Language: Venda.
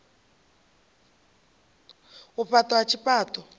u faṱwa ha tshifha ṱo